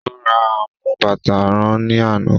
Ó ra amú bàtà rán ní àná